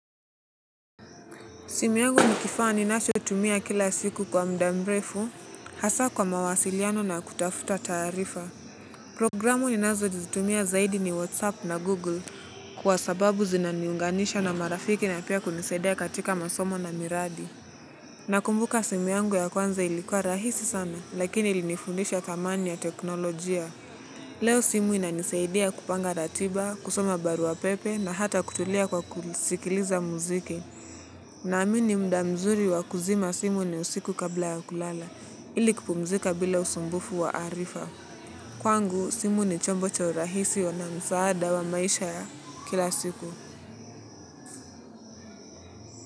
Simu yangu ni kifaa ninachotumia kila siku kwa mda mrefu hasa kwa mawasiliano na kutafuta taarifa. Programu ninazo jitumia zaidi ni Whatsapp na Google kwa sababu zinaniunganisha na marafiki na pia kunisaidia katika masomo na miradi. Nakumbuka simu yangu ya kwanza ilikuwa rahisi sana lakini ilinifundisha thamani ya teknolojia. Leo simu inanisaidia kupanga ratiba, kusoma barua pepe na hata kutulia kwa kusikiliza muziki. Naamini mda mzuri wa kuzima simu ni usiku kabla ya kulala, ili kupumzika bila usumbufu wa arifa. Kwangu, simu ni chombo cha urahisi wa namzaada wa maisha ya kila siku.